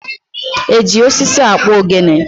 E ji osisi akpụ ogene?